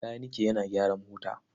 Makanike yana gyara mota.